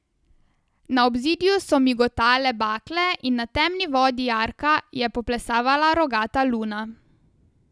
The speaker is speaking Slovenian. Na obzidju so migotale bakle in na temni vodi jarka je poplesavala rogata luna.